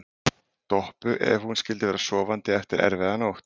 Doppu ef hún skyldi vera sofandi eftir erfiða nótt.